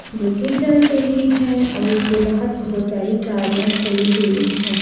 जो कि जल रही हैं और इसके बाहर बहुत सारी गाड़ियां खड़ी हुई हैं।